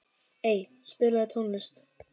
Ey, spilaðu tónlist.